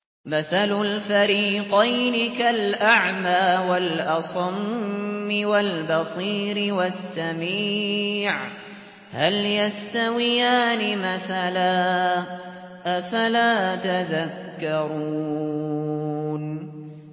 ۞ مَثَلُ الْفَرِيقَيْنِ كَالْأَعْمَىٰ وَالْأَصَمِّ وَالْبَصِيرِ وَالسَّمِيعِ ۚ هَلْ يَسْتَوِيَانِ مَثَلًا ۚ أَفَلَا تَذَكَّرُونَ